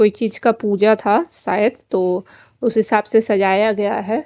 कोई चीज का पूजा था शायद तो उस हिसाब से सझाया गया है।